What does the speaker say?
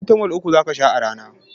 Farasitamol uku zaka sha a rana